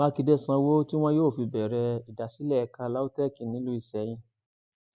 mákindé sanwó tí wọn yóò fi bẹrẹ ìdásílẹ ẹka lautech nílùú iseyín